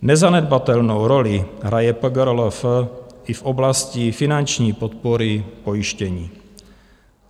Nezanedbatelnou roli hraje PRGLF i v oblasti finanční podpory pojištění.